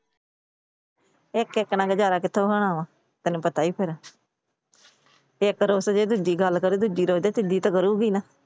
ਇੱਕ ਇੱਕ ਨਾਲ ਗੁਜਾਰਾ ਕਿੱਥੋਂ ਹੋਣਾ ਵਾ ਤੈਨੂੰ ਪਤਾ ਈ ਏ ਫਿਰ। ਇੱਕ ਰੁੱਸ ਗਈ ਦੂਜੀ ਗੱਲ ਕਰੁ ਦੂਜੀ ਰੁੱਸ ਗਈ ਤਾਂ ਤੀਜੀ ਤਾਂ ਕਰੂੰਗੀ ਨਾ।